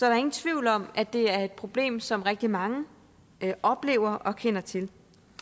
er ingen tvivl om at det er et problem som rigtig mange oplever og kender til